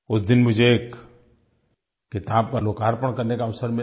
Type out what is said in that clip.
उस दिन मुझे एक किताब का लोकार्पण करने का अवसर मिला